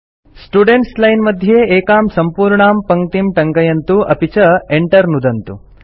students line मध्ये एकां सम्पूर्णां पङ्क्तिं टङ्कयन्तु अपि च Enter नुदन्तु